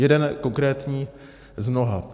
Jeden konkrétní z mnoha.